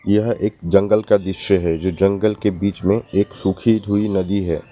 यह एक जंगल का दृश्य है जो जंगल के बीच में एक सुखी हुई नदी है।